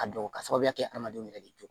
A dɔn ka sababuya kɛ adamadenw yɛrɛ de jɔlen